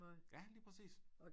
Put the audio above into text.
Ja lige præcis